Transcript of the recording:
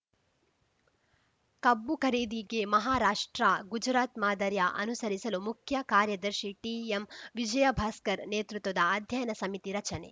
ಕಬ್ಬು ಖರೀದಿಗೆ ಮಹಾರಾಷ್ಟ್ರ ಗುಜರಾತ್‌ ಮಾದರಿಯ ಅನುಸರಿಸಲು ಮುಖ್ಯಕಾರ್ಯದರ್ಶಿ ಟಿಎಂ ವಿಜಯಭಾಸ್ಕರ್‌ ನೇತೃತ್ವದ ಅಧ್ಯಯನ ಸಮಿತಿ ರಚನೆ